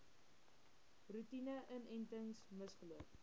roetine inentings misgeloop